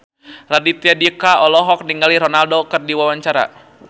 Raditya Dika olohok ningali Ronaldo keur diwawancara